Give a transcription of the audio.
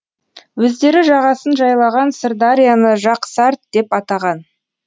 өздері жағасын жайлаған сырдарияны жақсарт деп атаған